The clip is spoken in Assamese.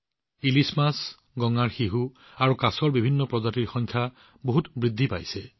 হিলচা মাছ গাংগেয় ডলফিন আৰু কাছৰ বিভিন্ন প্ৰজাতিৰ সংখ্যা যথেষ্ট বৃদ্ধি পাইছে